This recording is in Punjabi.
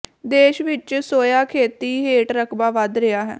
ਦੇਸ਼ ਵਿੱਚ ਸੋਇਆ ਖੇਤੀ ਹੇਠ ਰਕਬਾ ਵਧ ਰਿਹਾ ਹੈ